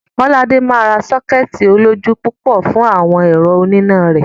Kọ́ládé máa ra sọ́kẹ́ẹ̀tì olójú púpọ̀ fún àwọn ẹ̀rọ oníná rẹ̀.